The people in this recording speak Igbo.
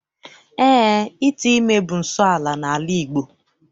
Eé, ite ime bụ nsọala n'ala Igbo.